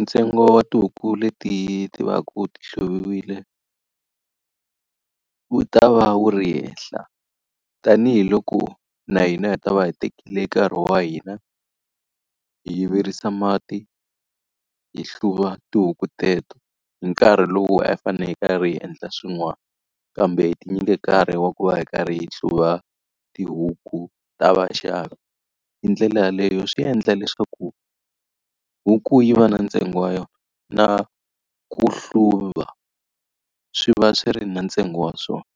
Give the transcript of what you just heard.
Ntsengo wa tihuku leti ti va ku ti hluviwile, wu ta va wu ri henhla. Tanihi loko na hina hi ta va hi tekile nkarhi wa hina, hi virisa mati, hi hluva tihuku teto, hi nkarhi lowu a hi fanele hi karhi hi endla swin'wani kambe hi tinyike nkarhi wa ku va hi karhi hi hluva tihuku ta vaxavi. Hi ndlela yeleyo swi endla leswaku huku yi va na ntsengo wa yona, na ku hluva swi va swi ri na ntsengo wa swona.